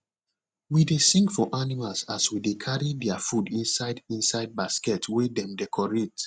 we dey sing for animals as we dey carry their food inside inside basket wey dem decorate